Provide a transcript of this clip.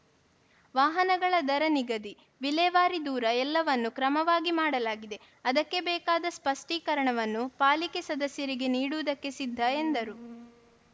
ವಾಹನಗಳ ದರ ನಿಗಧಿ ವಿಲೇವಾರಿ ದೂರ ಎಲ್ಲವನ್ನೂ ಕ್ರಮವಾಗಿ ಮಾಡಲಾಗಿದೆ ಅದಕ್ಕೆ ಬೇಕಾದ ಸ್ಪಷ್ಟಿಕರಣವನ್ನು ಪಾಲಿಕೆ ಸದಸ್ಯರಿಗೆ ನೀಡುವುದಕ್ಕೆ ಸಿದ್ಧ ಎಂದರು